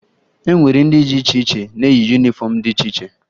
E nwere ndị dị iche iche na-eyi yunifọmụ dị iche iche